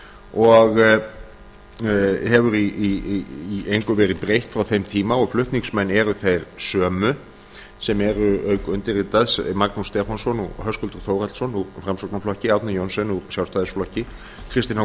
og hefur í engu verið breytt frá þeim tíma og flutningsmenn eru þeir sömu sem eru auk undirritaðs magnús stefánsson og höskuldur þórhallsson úr framsóknarflokki árni johnsen úr sjálfstæðisflokki og kristinn h